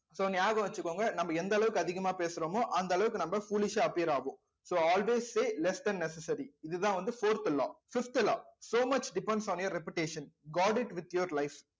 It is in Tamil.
so ஞாபகம் வச்சுக்கோங்க நம்ம எந்த அளவுக்கு அதிகமா பேசுறோமோ அந்த அளவுக்கு நம்ம foolish ஆ appear ஆகும் so always say less then necessary இதுதான் வந்து fourth law fifth law so much depends on your reputation god it with your life